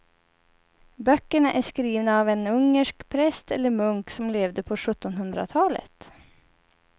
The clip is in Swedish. Böckerna är skrivna av en ungersk präst eller munk som levde på sjuttonhundratalet.